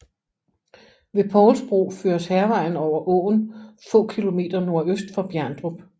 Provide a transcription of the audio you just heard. Ved Povls Bro føres Hærvejen over åen få km nordøst for Bjerndrup